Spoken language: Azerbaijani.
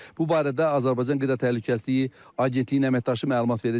Bu barədə Azərbaycan Qida Təhlükəsizliyi Agentliyinin əməkdaşı məlumat verəcək.